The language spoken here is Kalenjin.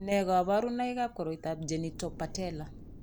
Nee kabarunoikab koroitoab Genitopatellar?